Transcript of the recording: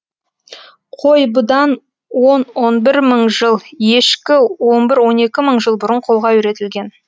қой бұдан он он бір мың жыл ешкі он бір он екі мың жыл бұрын қолға үйретілген